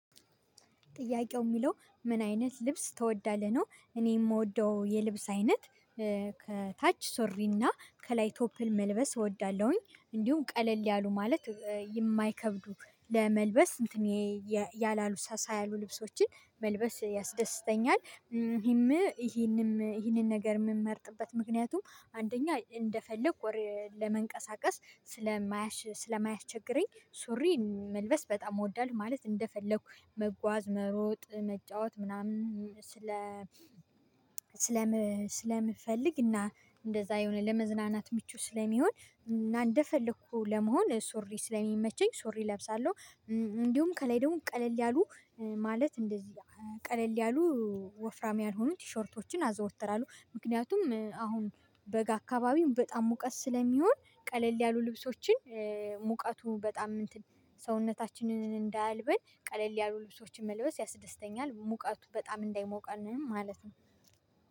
ጥያቄው የሚለው ምን አይነት ልብስ ትወዳለህ? ነው እኔ የምወደው የልብስ አይነት ከታች ሱሪ እና ከላይ ቶፕን መልበስ እወዳለሁኝ እንዲሁም ቀለል ያሉ ማለት የማይከብዱ ለመልበስ እንትን ያላሉ ሳሳ ያሉ ልብሶችን መልበስ ያስደስተኛል። ይሄም ይሄንም ይሄንን ነገር የምመርጥበት ምክንያቱም አንደኛ እንደፈለኩ ወር ለመንቀሳቀስ ስለማያሽ ስለማያስቸግረኝ ሱሪ መልበስ በጣም እወዳለሁ። ማለት እንደፈለኩ መጓዝ መሮጥ መጫወት ምናምን ስለ ስለምፈልግ እና እንደዛ የሆነ ለመዝናናት ምቹ ስለሚሆን እና እንደፈለኩ ለመሆን ሱሪ ስለሚመቸኝ ሱሪ እለብሳለሁ። እንዲሁም ከላይ ደግሞ ቀለል ያሉ ማለት እንደዚህ ቀለል ያሉ ወፍራም ያልሆኑ ቲሸርቶችን አዘወትራለሁ። ምክንያቱም አሁን በጋ አካባቢም በጣም ሙቀት ስለሚሆን ቀለል ያሉ ልብሶችን ሙቀቱ በጣም ሰውነታችንን እንዳያልበን ቀለል ያሉ ልብሶችን መልበስ ያስደስተኛል። ሙቀቱ በጣም እንዳይሞቀንም ማለት ነው